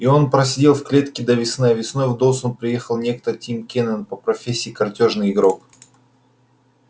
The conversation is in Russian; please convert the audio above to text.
и он просидел в клетке до весны а весной в доусон приехал некто тим кинен по профессии картёжный игрок